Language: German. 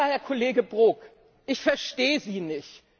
Lieber Herr Kollege Brok, ich verstehe Sie nicht.